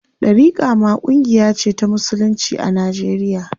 Ɗariƙa ma ƙungiya ce ta musulunci a Najeriya.